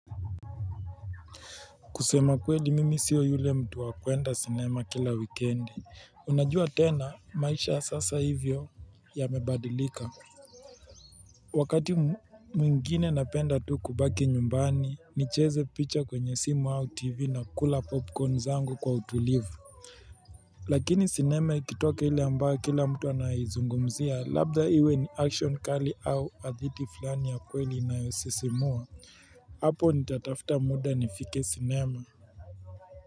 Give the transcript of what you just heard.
Kusema kweli mimi sio yule mtu wa kwenda sinema kila wikiendi unajua tena maisha ya sasa hivyo ya mebadilika. Wakati mwingine napenda tu kubaki nyumbani ni cheze picha kwenye simu au tv na kula popcorn zangu kwa utulivu. Lakini sinema ikitoka ile ambayo kila mtu ana izungumzia labda iwe ni action kali au hadithi fulani ya kweli inayo sisimua hapo nita tafuta muda nifike sinema.